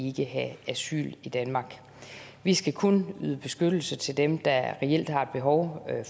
ikke have asyl i danmark vi skal kun yde beskyttelse til dem der reelt har et behov